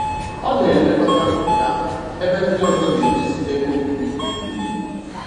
Ọ n'elekọta ubi ahụ ebe ndị ọzọ n'edozi ebe obibi mgbe niile.